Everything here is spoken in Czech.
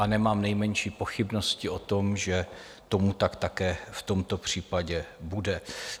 A nemám nejmenší pochybnosti o tom, že tomu tak také v tomto případě bude.